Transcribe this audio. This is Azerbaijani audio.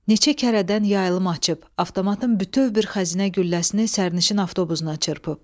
Neçə kərədən yaylım açıb, avtomatın bütöv bir xəzinə gülləsini sərnişin avtobusuna çırpıb.